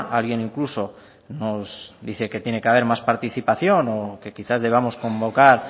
alguien incluso nos dice que tiene que haber más participación o que quizás debamos convocar